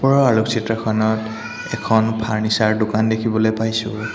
ওপৰৰ আলোকচিত্ৰ খনত এখন ফাৰ্নিচাৰ দোকান দেখিবলৈ পাইছোঁ।